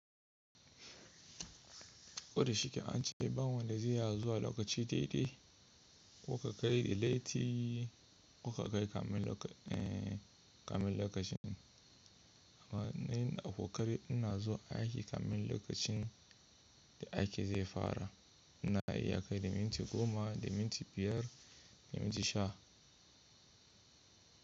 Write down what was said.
Ko da shike an ce bawanda da zai zuwa a lokaci dai-dai, koka kai da leti koka kai kamin lokacin. Amma ni ina kokari ina zuwa a aiki kamin lokacin da aiki zai fara. Ina iya kai da minti goma, da minti biyar, da minti sha.